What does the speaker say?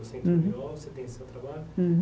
Você entrou, uhum você tem seu trabalho uhum.